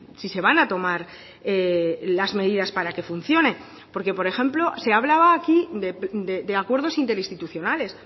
si se van a tomar las medidas para que funcione porque por ejemplo se hablaba aquí de acuerdos interinstitucionales